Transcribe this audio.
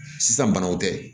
Sisan banaw tɛ